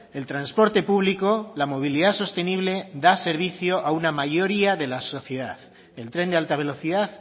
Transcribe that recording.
el transporte público la movilidad sostenible da servicio a una mayoría de la sociedad el tren de alta velocidad